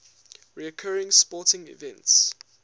recurring sporting events